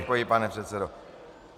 Děkuji, pane předsedo.